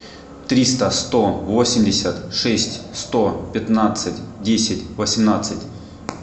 триста сто восемьдесят шесть сто пятнадцать десять восемнадцать